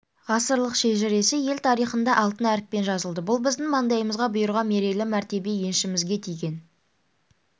ғасырлық шежіресі ел тарихында алтын әріппен жазылды бұл біздің маңдайымызға бұйырған мерейлі мәртебе еншімізге тиген